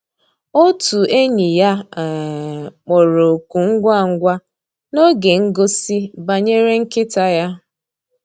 Ótú ényí yá um kpọ̀rọ́ òkụ́ ngwá ngwá n'ògé ngósì bànyéré nkị́tá yá.